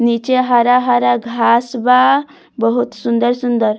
नीचे हरा-हरा घास बा बहुत सुन्दर सुन्दर।